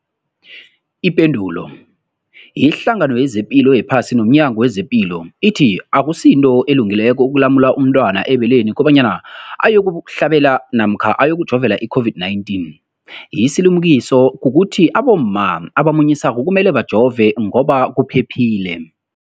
Ipendulo, iHlangano yezePilo yePhasi nomNyango wezePilo ithi akusinto elungileko ukulumula umntwana ebeleni kobanyana uyokuhlabela namkha uyokujovela i-COVID-19. Isilimukiso kukuthi abomma abamunyisako kumele bajove ngoba kuphephile.